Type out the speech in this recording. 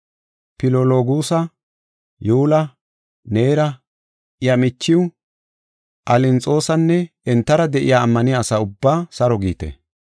Filologuusa, Yuula, Neera, iya michiw, Alinxoosanne entara de7iya ammaniya asa ubbaa saro giite.